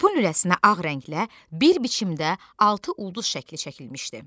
Topun lüləsinə ağ rənglə bir biçimdə altı ulduz şəkli çəkilmişdi.